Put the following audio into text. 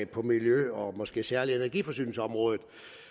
på miljø og måske særlig energiforsyningsområdet